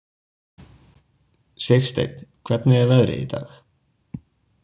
Sigsteinn, hvernig er veðrið í dag?